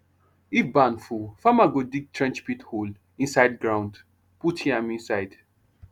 if barn full farmer go dig trench pit hole inside ground put yam inside